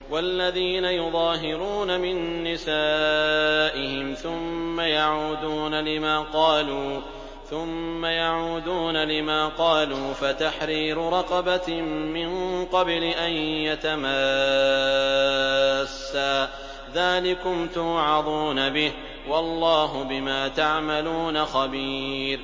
وَالَّذِينَ يُظَاهِرُونَ مِن نِّسَائِهِمْ ثُمَّ يَعُودُونَ لِمَا قَالُوا فَتَحْرِيرُ رَقَبَةٍ مِّن قَبْلِ أَن يَتَمَاسَّا ۚ ذَٰلِكُمْ تُوعَظُونَ بِهِ ۚ وَاللَّهُ بِمَا تَعْمَلُونَ خَبِيرٌ